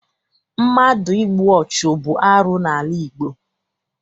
Mmadụ ịgbụ ọchụ bụ arụ n'ala Igbo.